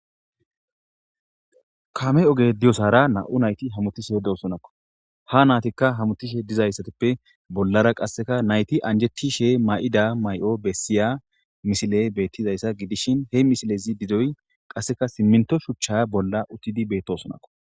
Kame ogey diyasara nam'u nayti hamutishe diyosonako ha naytika hamutishe dizaytippe bollara qase nayti anjetishe mayiya mayo besiya misile betizaysa gidishin he misilezi gidoy qaseka simito shucha bolla uttidi betosonakko